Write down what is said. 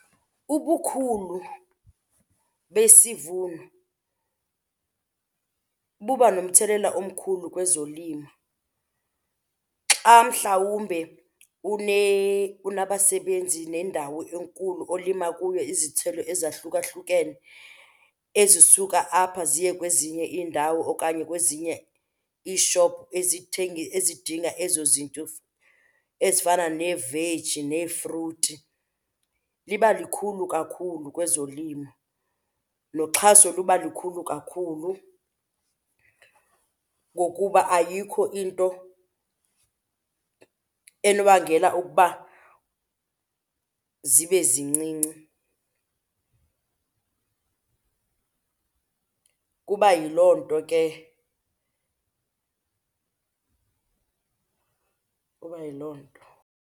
Ubukhulu besivuno buba nomthelela omkhulu kwezolimo xa mhlawumbe unabasebenzi nendawo enkulu olima kuyo izithelo ezahlukahlukene ezisuka apha ziye kwezinye iindawo okanye kwezinye iishophu ezidinga ezo zinto ezifana neeveji nefruthi. Liba likhulu kakhulu kwezolimo, noxhaso luba likhulu kakhulu. Ngokuba ayikho into enobangela ukuba zibe zincinci. Kuba yiloo nto ke, kuba yiloo nto.